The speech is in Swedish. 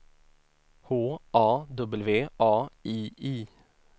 H A W A I I